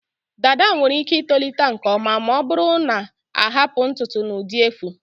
Dada nwere ike itolite nke ọma ma ọ bụrụ na ahapụ ntutu n'ụdị efu.